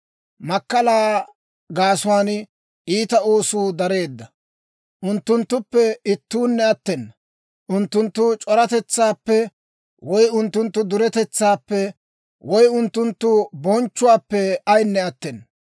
Makkalaa gaasuwaan iita oosuu dareedda; unttunttuppe ittuunne attena; unttunttu c'oratetsaappe, woy unttunttu duretetsaappe, woy unttunttu bonchchuwaappe ayinne attena.